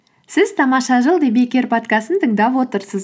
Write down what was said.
сіз тамаша жыл подкастын тыңдап отырсыз